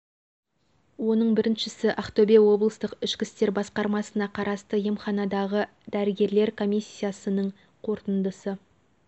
оның біріншісі ақтөбе облыстық ішкі істер басқармасына қарасты емханадағы дәрігерлер комиссиясының қорытындысы